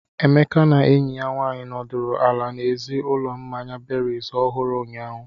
Emeka na enyi ya nwanyị nọdụrụ ala n'èzí ụlọ mmanya berries ohuru, ụnyahụ.